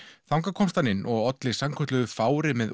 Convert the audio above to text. þangað komst hann inn og olli sannkölluðu fári með